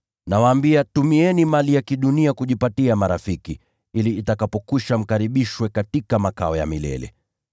Nawaambia, tumieni mali ya kidunia kujipatia marafiki, ili itakapokwisha, mkaribishwe katika makao ya milele.